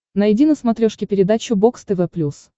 найди на смотрешке передачу бокс тв плюс